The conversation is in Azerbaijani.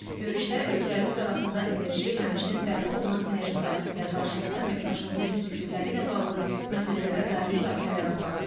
Görüşdə ölkələrimiz arasında enerji, həmçinin bərpa olunan enerji sahəsində qarşılıqlı əməkdaşlığın perspektivləri ilə bağlı məsələlərə dair müzakirələr aparıldı.